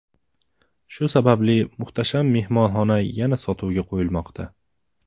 Shu sababli muhtasham mehmonxona yana sotuvga qo‘yilmoqda.